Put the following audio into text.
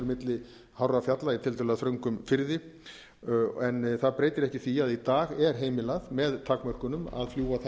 milli hárra fjalla í tiltölulega þröngum firði en það breytir ekki því að í dag er heimilað með takmörkunum að fljúga þaðan